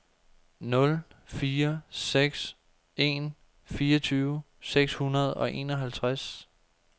nul fire seks en fireogtyve seks hundrede og enoghalvtreds